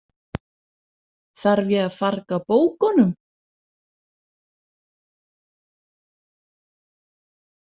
Þarf ég að farga bókunum?